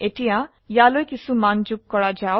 এতিয়া ইয়ালৈ কিছো মান যোগ কৰা যাক